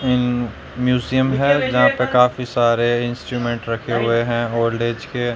अम museum है यहां पे काफी सारे इंस्ट्रूमेंट रखे हुए हैं ओल्ड एज के।